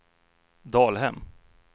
Dalhem